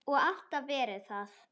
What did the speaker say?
Og alltaf verið það.